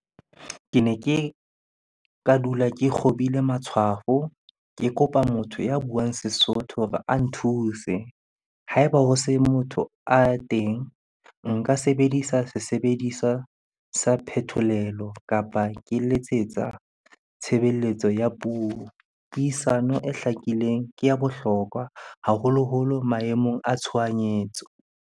Ke ne ke ka dula ke kgobile matshwafo, ke kopa motho ya buang Sesotho hore a nthuse. Ha eba ho se motho a teng, nka sebedisa sebediswa sa phetolelo kapa ke letsetsa tshebeletso ya puo. Puisano e hlakileng ke ya bohlokwa haholoholo maemong a tshohanyetso.